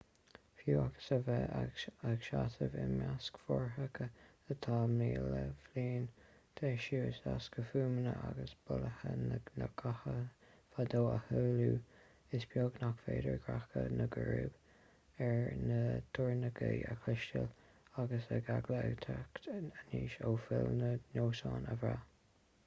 fiú agus a bheith ag seasamh i measc fothracha atá míle bliain d'aois is éasca fuaimeanna agus bolaithe na gcathanna fadó a shamhlú is beag nach féidir greadadh na gcrúb ar na doirneoga a chloisteáil agus an eagla ag teacht aníos ó phoill na ndoinsiún a bhraith